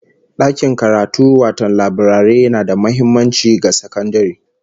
Dakin karatu wato laburare na da muhimmanci ga sakandare